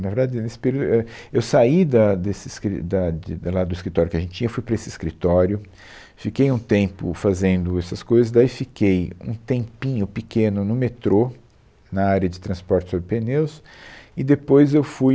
Na verdade, a, nesse período, éh, eu saí da, desse escri, da de lá do escritório que a gente tinha, fui para esse escritório, fiquei um tempo fazendo essas coisas, daí fiquei um tempinho pequeno no metrô, na área de transporte sob pneus, e depois eu fui